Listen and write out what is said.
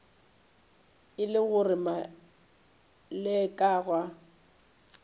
e le gore maleka ga